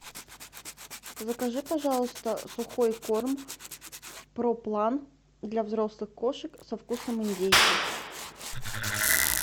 закажи пожалуйста сухой корм проплан для взрослых кошек со вкусом индейки